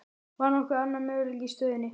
Var nokkur annar möguleiki í stöðunni?